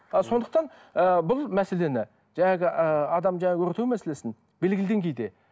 ы сондықтан ыыы бұл мәселені ыыы адамды өртеу мәселесін белгілі деңгейде